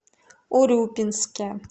урюпинске